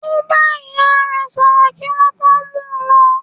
Ó bá ìyá re sọ̀rọ̀ kí wọ́n tó mú u lọ.